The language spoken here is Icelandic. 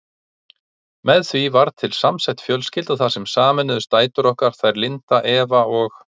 Með því varð til samsett fjölskylda þar sem sameinuðust dætur okkar, þær Linda, Eva og